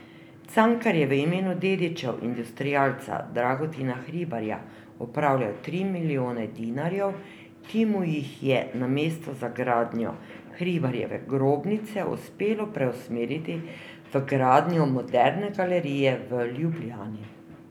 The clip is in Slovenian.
Cankar je v imenu dedičev industrialca Dragotina Hribarja upravljal tri milijone dinarjev, ki mu jih je namesto za gradnjo Hribarjeve grobnice uspelo preusmeriti v gradnjo Moderne galerije v Ljubljani.